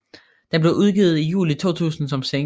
Den blev udgivet i juli 2000 som single